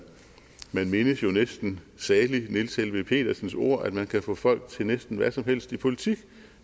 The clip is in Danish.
mindes jo næsten salig niels helveg petersens ord om at man kan få folk til næsten hvad som helst i politik